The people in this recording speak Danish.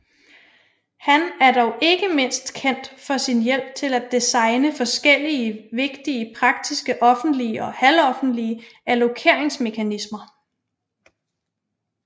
Han er dog ikke mindst kendt for sin hjælp til at designe forskellige vigtige praktiske offentlige og halvoffentlige allokeringsmekanismer